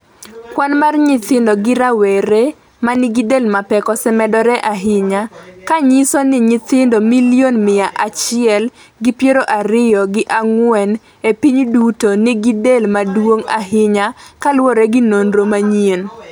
kwan mar nyithindo gi rawera manigi del mapek osemedore ahinya, ka nyiso ni nyithindo milion miya achiel gi piero ariyo gi ang'wen e piny duto nigi del maduong' ahinya kaluwore gi nonro manyien